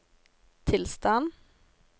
tilstand